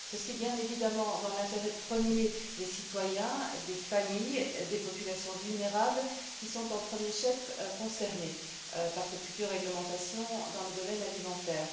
Ceci, bien entendu, dans l'intérêt premier des citoyens, des familles, des populations vulnérables, qui sont au premier chef concernées par cette future réglementation dans le domaine alimentaire.